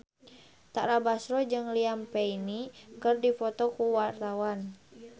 Tara Basro jeung Liam Payne keur dipoto ku wartawan